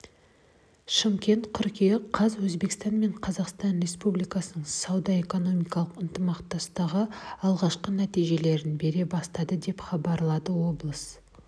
шымкент қыркүйек қаз өзбекстан мен қазақстан республикасының сауда-экономикалық ынтымақтастығы алғашқы нәтижелерін бере бастады деп хабарлады облыс